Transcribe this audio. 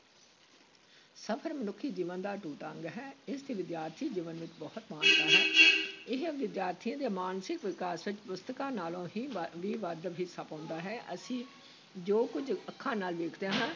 ਸਫ਼ਰ ਮਨੁੱਖੀ ਜੀਵਨ ਦਾ ਅਟੁੱਟ ਅੰਗ ਹੈ, ਇਸ ਦੀ ਵਿਦਿਆਰਥੀ ਜੀਵਨ ਵਿੱਚ ਬਹੁਤ ਮਹਾਨਤਾ ਹੈ ਇਹ ਵਿਦਿਆਰਥੀਆਂ ਦੇ ਮਾਨਸਿਕ ਵਿਕਾਸ ਵਿਚ ਪੁਸਤਕਾਂ ਨਾਲੋਂ ਹੀ ਵ ਵੀ ਵੱਧ ਹਿੱਸਾ ਪਾਉਂਦਾ ਹੈ, ਅਸੀਂ ਜੋ ਕੁੱਝ ਅੱਖਾਂ ਨਾਲ ਦੇਖਦੇ ਹਾਂ,